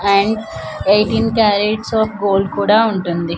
And eighteen carats of gold కూడా ఉంటుంది.